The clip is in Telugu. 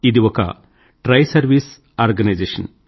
ఇది ఒక ట్రైజర్వైస్ ఆర్గనైజేషన్